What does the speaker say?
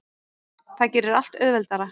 Það gerir allt auðveldara.